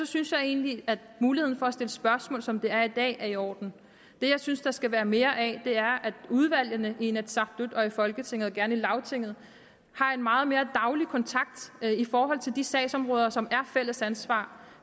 synes jeg egentlig at muligheden for at stille spørgsmål som det er i dag er i orden det jeg synes der skal være mere af er at udvalgene i inatsisartut og i folketinget og gerne i lagtinget har en meget mere daglig kontakt i forhold til de sagsområder som er fælles ansvar